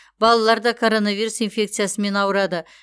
балалар да коронавирус инфекциясымен ауырады